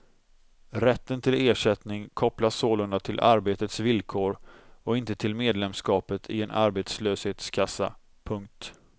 Rätten till ersättning kopplas sålunda till arbetets villkor och inte till medlemskapet i en arbetslöshetskassa. punkt